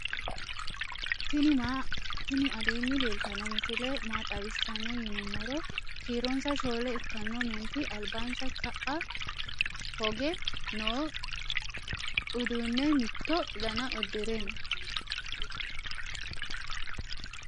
tinni alenni leltano misile maa xawisano yinunumoro kiironsa shole ikkano menti albansa ka"a hoge noo uduune mitto daana udiire noo.